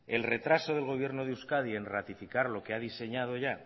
el retraso del gobierno de euskadi en ratificar lo que ha diseñado ya